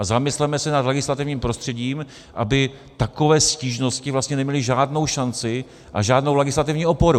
A zamysleme se nad legislativním prostředím, aby takové stížnosti vlastně neměly žádnou šanci a žádnou legislativní oporu.